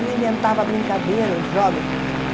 Ele inventava brincadeiras, jogos.